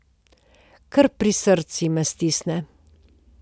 Kar pri srcu me stisne.